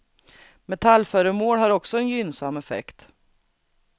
Metallföremål har också en gynnsam effekt.